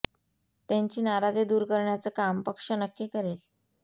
त्यांची नाराजी दूर करण्याचं काम पक्ष नक्की करेल